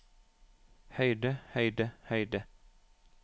høyde høyde høyde